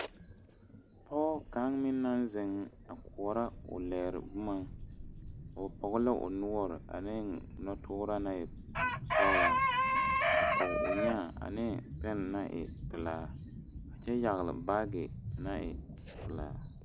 Pɔge ka meŋ naŋ zeŋ a koɔrɔ o lɛɛre boma o Pɔge la o noɔre a ne noɔ turaa naŋ e sɔglaa a pɔge o nyaa ane peŋ naŋ e pelaa a kyɛ yagle baagi naŋ e pelaa.